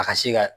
A ka se ka